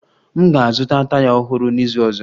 M ga-azụta taya ọhụrụ n'izu ọzọ